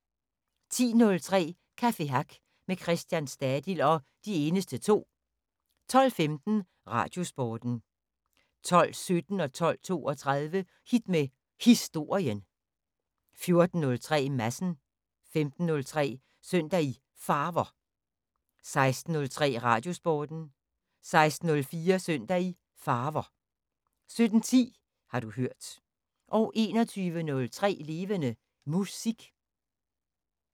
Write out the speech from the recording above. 10:03: Café Hack med Christian Stadil og De Eneste To 12:15: Radiosporten 12:17: Hit med Historien 12:32: Hit med Historien 14:03: Madsen 15:03: Søndag i Farver 16:03: Radiosporten 16:04: Søndag i Farver 17:10: Har du hørt 21:03: Levende Musik